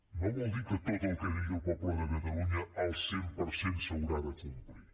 no vol dir que tot el que digui el poble de catalunya el cent per cent s’haurà de complir